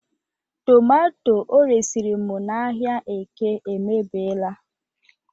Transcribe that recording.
tomato o resịrị m n'ahịa eke emebiela